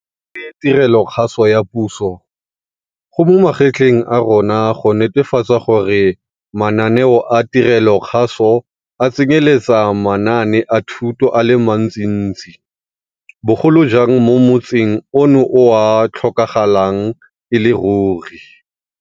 Re le tirelokgaso ya puso, go mo magetleng a rona go netefatsa gore mananeo a tirelokgaso a tsenyeletsa manaane a thuto a le mantsintsi, bogolo jang mo motsing ono o a tlhokagalang e le ruri.